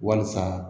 Walisa